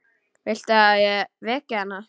Viltu að ég veki hana?